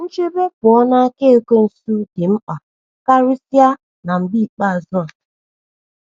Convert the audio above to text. * Nchebe pụọ n’aka Ekwensu dị mkpa karịsịa na mgbe ikpeazụ a.